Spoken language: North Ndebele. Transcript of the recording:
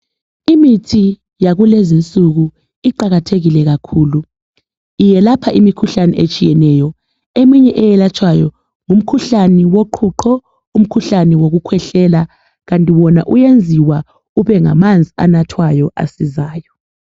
Imithi yakulezinsuku iqakathekile kakhulu . Iyelapha imikhuhlane etshiyeneyo. Eminye eyelatshwayo yimikhuhlane yoqhuqho, umkhuhlane wokukhwehlela. Kanti wona uwenziwa ubengamanzi anathwayo asizayo.